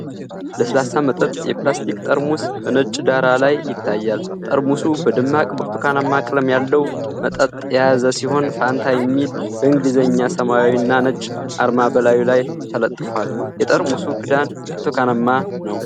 ለስላሳ መጠጥ የፕላስቲክ ጠርሙስ በነጭ ዳራ ላይ ይታያል። ጠርሙሱ በደማቅ ብርቱካናማ ቀለም ያለው መጠጥ የያዘ ሲሆን፣ ፋንታ የሚል በእንግሊዘኛ ሰማያዊና ነጭ አርማ በላዩ ላይ ተለጥፏል። የጠርሙሱ ክዳን ብርቱካናማ ነው።